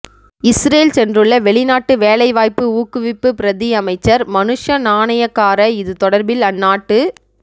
Israel சென்றுள்ள வெளிநாட்டு வேலைவாய்ப்பு ஊக்குவிப்பு பிரதியமைச்சர் மனுஷ நாணயக்கார இது தொடர்பில் அந்நாட்டு